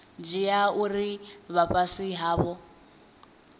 dzhia uri vha fhasi havho